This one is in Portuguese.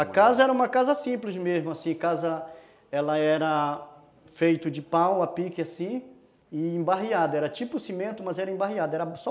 A casa era uma casa simples mesmo, assim, casa, ela era feita de pau, a pique assim, e embarreada, era tipo cimento, mas era embarreada, era só